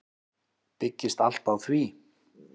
Byggist allt á því.